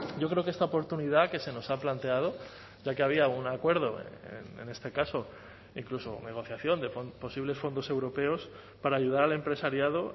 yo creo que esta oportunidad que se nos ha planteado ya que había algún acuerdo en este caso incluso negociación de posibles fondos europeos para ayudar al empresariado